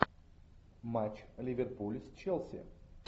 матч ливерпуль с челси